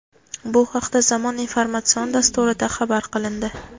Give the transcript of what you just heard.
Bu haqda "Zamon" informatsion dasturida xabar qilindi.